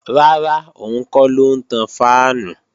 Rárá, òun kọ́ ló ń tan fáànù